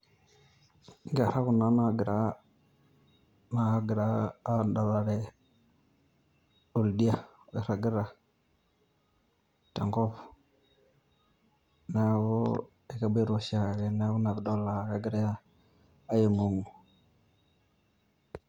Inkerra kuna nagira, naagira adalare oldia oirragita, tenkop. Neeku ekeboita oshiake neeku inapidol ah kegira aing'ong'u.